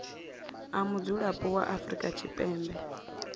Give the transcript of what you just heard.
a mudzulapo wa afrika tshipembe